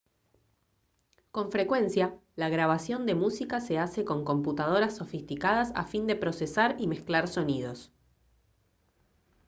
con frecuencia la grabación de música se hace con computadoras sofisticadas a fin de procesar y mezclar sonidos